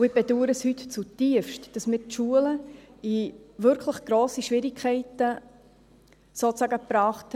Ich bedaure heute zutiefst, dass wir die Schulen in wirklich grosse Schwierigkeiten gebracht haben.